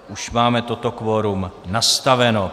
Už máme toto kvorum nastaveno.